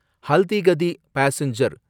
Haldighati passenger